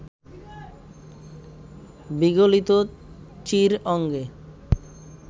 বিগলিত চীর অঙ্গে